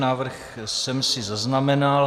Návrh jsem si zaznamenal.